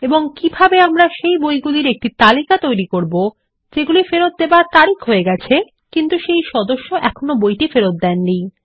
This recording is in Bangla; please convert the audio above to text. এবং কিভাবে আমরা সেই বইগুলির একটি তালিকা তৈরী করবো যেগুলি ফেরত দেবার তারিখ হয়ে গেছে কিন্তু সেই সদস্য এখনো বইটি ফেরত দেননি